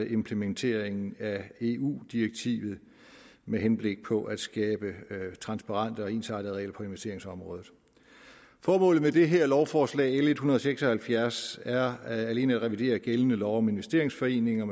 implementering af eu direktivet med henblik på at skabe transparente og ensartede regler for investeringsområdet formålet med det her lovforslag l en hundrede og seks og halvfjerds er alene at revidere gældende lov om investeringsforeninger